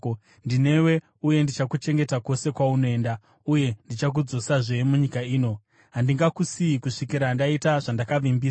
Ndinewe uye ndichakuchengeta kwose kwaunoenda, uye ndichakudzosazve munyika ino. Handingakusiyi kusvikira ndaita zvandakavimbisa.”